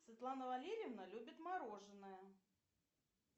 светлана валерьевна любит мороженое